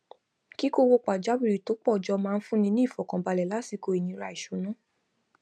kíkó owó pajáwìrì tó pọ jọ máa ń fún ni ní ìfọkànbalẹ lásìkò ìnira ìṣúná